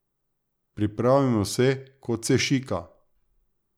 Pripravimo se, kot se šika.